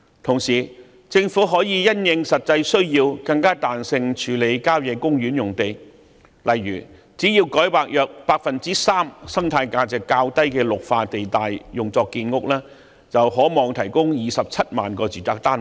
同時，政府可以因應實際需要，更彈性處理郊野公園用地，例如只要改劃約 3% 生態價值較低的綠化地帶用作建屋，便可望提供27萬個住宅單位。